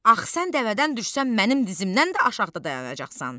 Axı sən dəvədən düşsən, mənim dizimdən də aşağıda dayanacaqsan.